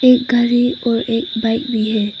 एक घर है और एक बाइक भी है।